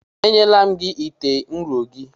Enyela m gị ite ụrọ gị!